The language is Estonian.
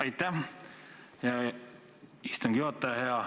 Aitäh, istungi juhataja!